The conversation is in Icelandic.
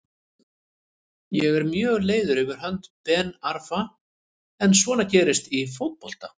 Ég er mjög leiður fyrir hönd Ben Arfa en svona gerist í fótbolta.